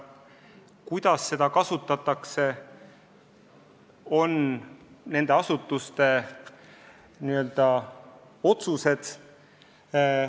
Kuidas seda raha kasutatakse, on nende asutuste otsustada.